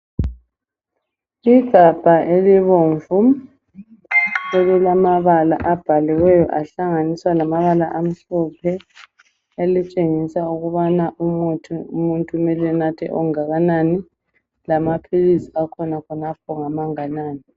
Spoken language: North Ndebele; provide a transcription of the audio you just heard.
Igabha elibomvu elilamabala abhaliweyo ahlanganiswa lamabala amhlophe elitshengisa umubana umuthi umuntu kumele enathe onganani lamaphilisi akhona khonapho ngamanganani.